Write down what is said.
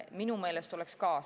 Minu meelest oleks ka.